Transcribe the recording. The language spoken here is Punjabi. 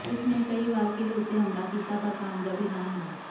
ਉਸ ਨੇ ਕਈ ਵਾਰ ਕਿਲ੍ਹੇ ਉੱਤੇ ਹਮਲਾ ਕੀਤਾ ਪਰ ਕਾਮਯਾਬੀ ਨਾ ਮਿਲੀ